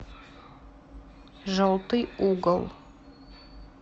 желтый угол